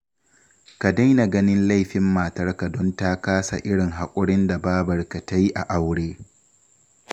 Ka daina ganin laifin matarka don ta kasa irin haƙurin da babarka ta yi a aure